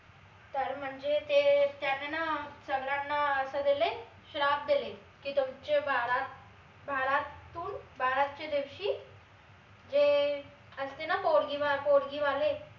तर म्हनजे ते त्यांना ना अं सगळ्यांना अस देले श्राप देले की तुमच बारात बाराततुन बारातच्या दिवशी जे अं असते ना पोरगी पोरगी वाले